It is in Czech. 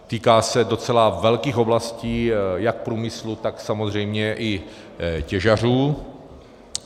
Týká se docela velkých oblastí jak průmyslu, tak samozřejmě i těžařů.